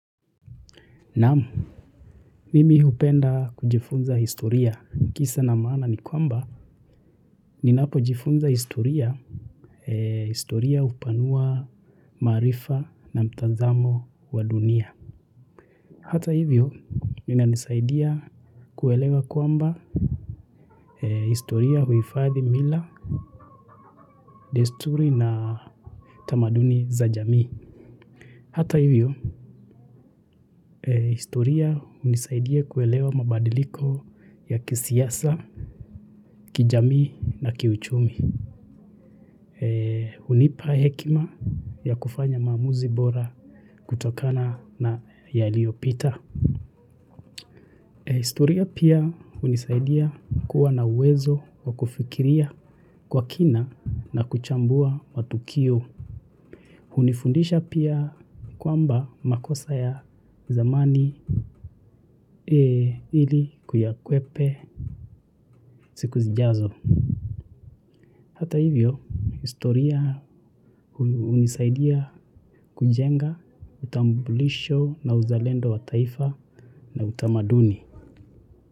Naam, mimi hupenda kujifunza historia kisa na maana ni kwamba ninapojifunza historia, historia hupanua maarifa na mtazamo wa dunia. Hata hivyo, inanisaidia kuelewa kwamba historia huhifadhi mila, desturi na tamaduni za jamii. Hata hivyo, historia hunisaidia kuelewa mabadiliko ya kisiasa, kijamii na kiuchumi. Hunipa hekima ya kufanya maamuzi bora kutokana na yaliyopita. Historia pia hunisaidia kuwa na uwezo wa kufikiria kwa kina na kuchambua matukio. Hunifundisha pia kwamba makosa ya zamani ili kuyakwepa siku zijazo. Hata hivyo, historia hunisaidia kujenga utambulisho na uzalendo wa taifa na utamaduni.